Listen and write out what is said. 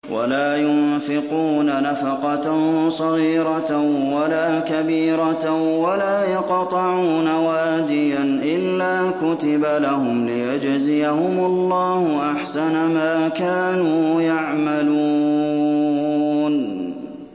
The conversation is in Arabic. وَلَا يُنفِقُونَ نَفَقَةً صَغِيرَةً وَلَا كَبِيرَةً وَلَا يَقْطَعُونَ وَادِيًا إِلَّا كُتِبَ لَهُمْ لِيَجْزِيَهُمُ اللَّهُ أَحْسَنَ مَا كَانُوا يَعْمَلُونَ